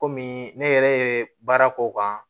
Kɔmi ne yɛrɛ ye baara k'o kan